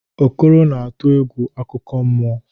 Okoro na-atụ egwu akụkọ mmụọ.